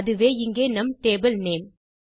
அதுவே இங்கே நம் டேபிள் நேம்